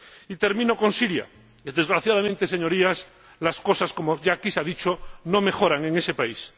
Y termino con Siria. Desgraciadamente, señorías, las cosas ―como aquí ya se ha dicho― no mejoran en ese país.